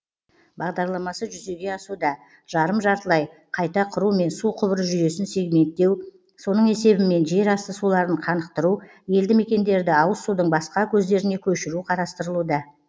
бағдарламасы жүзеге асуда жарым жартылай қайта құру мен су құбыры жүйесін сегменттеу соның есебімен жер асты суларын қанықтыру елді мекендерді ауыз судың басқа көздеріне көшіру қарастырылуда